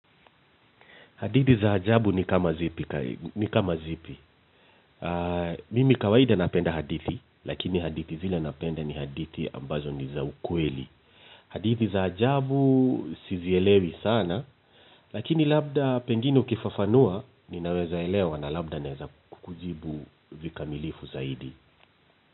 Hadithi za ajabu ni kama zipi? Mimi kawaida napenda hadithi, lakini hadithi zile napenda ni hadithi ambazo ni za ukweli. Hadithi za ajabu sizielewi sana, lakini labda pengine ukifafanua, ninaweza elewa na labda naweza kukujibu vikamilifu zaidi.